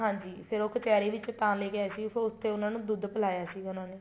ਹਾਂਜੀ ਫ਼ੇਰ ਉਹ ਕਚਿਹਰੀ ਵਿੱਚ ਤਾਂ ਲੈਕੇ ਆਏ ਸੀਗੇ ਉਹ ਉੱਥੇ ਉਹਨਾ ਨੂੰ ਦੁੱਧ ਪਿਲਾਇਆ ਸੀਗੇ ਉਹਨਾ ਨੇ